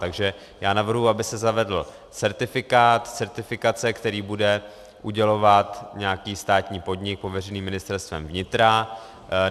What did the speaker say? Takže já navrhuji, aby se zavedl certifikát, certifikace, který bude udělovat nějaký státní podnik pověřený Ministerstvem vnitra.